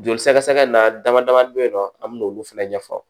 Joli sɛgɛsɛgɛ in na dama dama be yen nɔ an mi n'olu fɛnɛ ɲɛfɔ